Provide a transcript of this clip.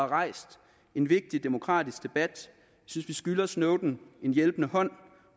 rejst en vigtig demokratisk debat synes vi skylder snowden en hjælpende hånd